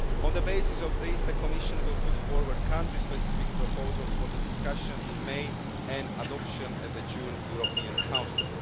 On the basis of this, the Commission will put forward country specific proposals for the discussion in May and adoption at the June European Council.